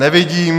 Nevidím.